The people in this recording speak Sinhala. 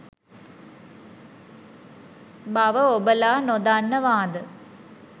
බව ඔබලා නොදන්නවාද?